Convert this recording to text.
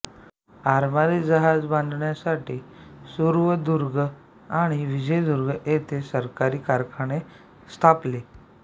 आरमारी जहाज बांधणीसाठी सुवर्णदुर्ग आणि विजयदुर्ग येथे सरकारी कारखाने स्थापले